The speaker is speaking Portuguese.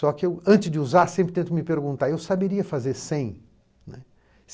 Só que antes de usar, sempre tento me perguntar, eu saberia fazer sem, né.